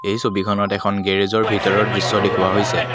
এই ছবিখনত এখন গেৰেজৰ ভিতৰৰ দৃশ্য দেখুওৱা হৈছে।